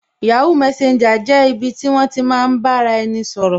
yahoo messenger jẹ́ ibi ti won ti maa n ba ara eni sọ̀rọ̀